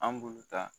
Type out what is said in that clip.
An bulu ta